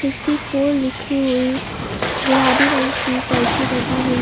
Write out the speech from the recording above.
सिस्टीफोर लिखी हुई गुलाबी रंग की पर्ची लगी हुई--